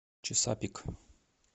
чесапик